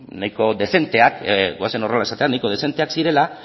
nahiko dezenteak zirela goazen horrela esatera